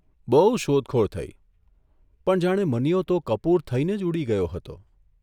બહુ શોધખોળ થઇ પણ જાણે મનીયો તો કપૂર થઇને જ ઊડી ગયો હતો !